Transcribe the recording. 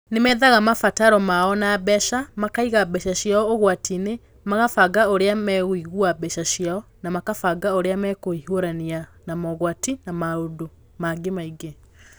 Nĩ methaga mabataro mao ma mbeca, makaiga mbeca ciao ũgwati-inĩ, makabanga ũrĩa megũiga mbeca ciao, na makabanga ũrĩa megũhiũrania na mogwati, na maũndũ mangĩ maingĩ.